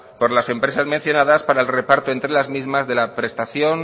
por las empresas mencionadas para el reparto entre las mismas de la prestación